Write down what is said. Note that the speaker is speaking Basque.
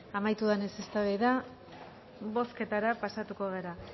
amaitu denez eztabaida bozketara pasatuko gara